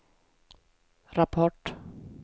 rapport